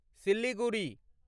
Siliguri